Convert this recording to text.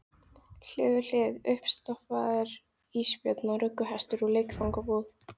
Hlið við hlið: uppstoppaður ísbjörn og rugguhestur úr leikfangabúð.